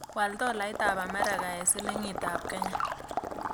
Wal tolaitap amerika eng' silingiitap kenya